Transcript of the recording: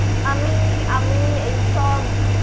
আমি, আমি এইসব।